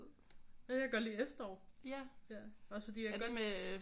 Jeg kan godt lide efterår også fordi jeg kan godt